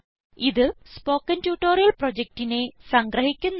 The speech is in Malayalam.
ഇത് സ്പൊകെൻ ട്യൂട്ടോറിയൽ പ്രൊജക്റ്റിനെ സംഗ്രഹിക്കുന്നു